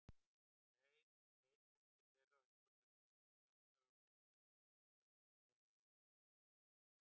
Um leið leit hún til þeirra og einhverra hluta vegna slöknaði á greiningartæki Penélope.